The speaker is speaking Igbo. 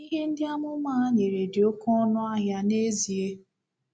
Ìhè ndị amụma a nyere dị oké ọnụ ahịa n’ezie.